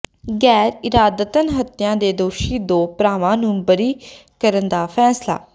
ਗੈਰ ਇਰਾਦਤਨ ਹੱਤਿਆ ਦੇ ਦੋਸ਼ੀ ਦੋ ਭਰਾਵਾਂ ਨੂੰ ਬਰੀ ਕਰਨ ਦਾ ਫ਼ੈਸਲਾ